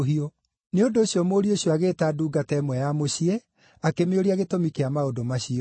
Nĩ ũndũ ũcio mũriũ ũcio agĩĩta ndungata ĩmwe ya mũciĩ, akĩmĩũria gĩtũmi kĩa maũndũ macio.